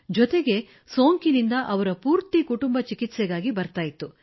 ಜತೆಗೆ ಸೋಂಕಿನಿಂದ ಅವರ ಪೂರ್ತಿ ಕುಟುಂಬ ಚಿಕಿತ್ಸೆಗಾಗಿ ಬರುತ್ತಿತ್ತು